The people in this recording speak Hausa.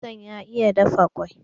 Hassan ya iya dafa kwai.